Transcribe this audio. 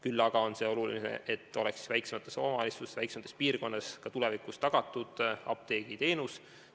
Küll aga on oluline see, et väiksemates omavalitsustes, väiksemates piirkondades oleks apteegiteenus tulevikus tagatud.